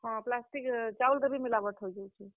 ହଁ, plastic ଚାଉଲ୍ ରେ ବି मिलावट ହେଇଯାଉଛେ।